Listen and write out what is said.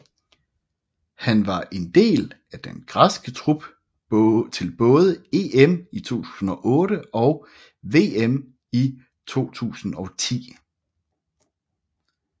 Han var en del af den græske trup til både EM i 2008 og VM i 2010